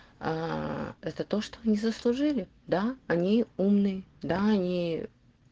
аа это то что мы заслужили да они умные да они